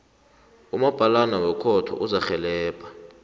umabhalana wekhotho uzakurhelebha